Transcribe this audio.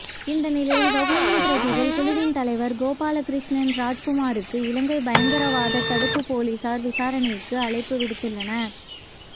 இந்த நிலையில் வவுனியா பிரஜைகள் குழுவின் தலைவர் கோபாலகிருஸ்ணன் ராஜ்குமாருக்கு இலங்கைப் பயங்கரவாதத் தடுப்புப் பொலிஸார் விசானைக்கு அழைப்பு விடுத்துள்ளனர்